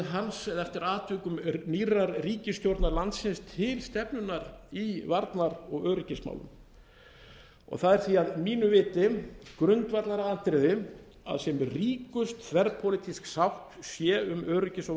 hans eða eftir atvikum nýrrar ríkisstjórnar landsins til stefnunnar í varnar og öryggismálum það er því að mínu viti grundvallaratriði að sem ríkust þverpólitísk sátt sé um öryggis og